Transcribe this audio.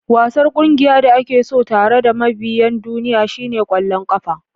Wasan ƙungiyar da ake so tare da mabiyan duniya shine ƙwallon ƙafa.